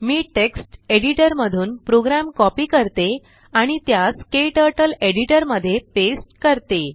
मी text editor मधून program copy करते आणि त्यास क्टर्टल एडिटर मध्ये पेस्ट करते